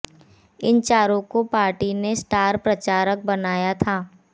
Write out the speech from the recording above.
इन चारों को पार्टी ने स्टार प्रचारक बनया था